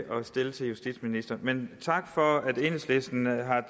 stille til justitsministeren men tak for at enhedslisten har